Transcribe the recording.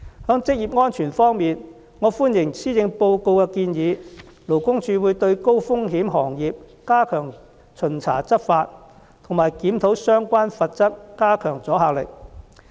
在職業安全方面，我歡迎施政報告的建議，勞工處會對高風險行業加強巡查執法和檢討相關罰則，加強阻嚇力。